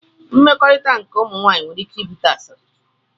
Mmekọrit nke ụmụ nwanyi nwere ike ibute asili.